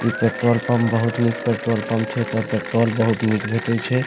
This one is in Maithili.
इ पेट्रोल पम्प बहुत निक पेट्रोल पम्प छै एता पेट्रोल बहुत निक भेटे छै।